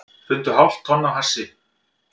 Fundu hálft tonn af hassi